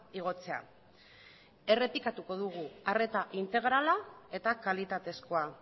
igotzea errepikatuko dugu arreta integrala eta kalitatezkoa